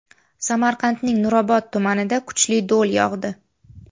Samarqandning Nurobod tumanida kuchli do‘l yog‘di .